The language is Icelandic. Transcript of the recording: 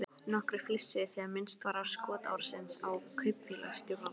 Nokkrir flissuðu þegar minnst var á skotárásina á kaupfélagsstjórann.